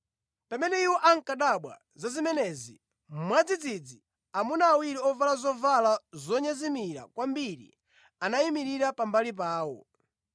Pamene iwo ankadabwa za zimenezi, mwadzidzidzi, amuna awiri ovala zovala zonyezimira kwambiri anayimirira pambali pawo.